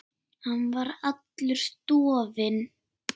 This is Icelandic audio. Hann var allur dofinn.